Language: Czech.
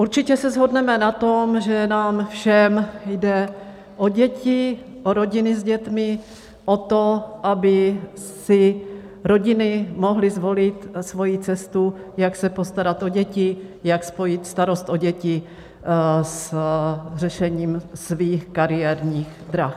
Určitě se shodneme na tom, že nám všem jde o děti, o rodiny s dětmi, o to, aby si rodiny mohly zvolit svoji cestu, jak se postarat o děti, jak spojit starost o děti s řešením svých kariérních drah.